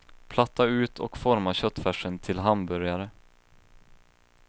Platta ut och forma köttfärsen till hamburgare.